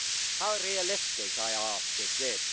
How realistic, I ask, is this?